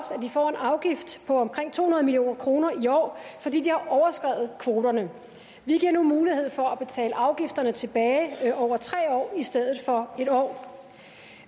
får en afgift på omkring to hundrede million kroner i år fordi de har overskredet kvoterne vi giver nu mulighed for at betale afgifterne tilbage over tre år i stedet for en år